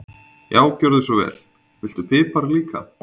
Já, gjörðu svo vel. Viltu pipar líka?